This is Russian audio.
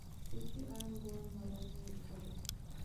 включи айм гоуин моральный кодекс